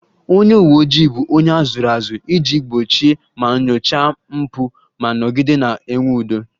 Onye uwe ojii bụ onye a zụrụ azụ iji gbochie ma nyochaa mpụ ma nọgide na-enwe udo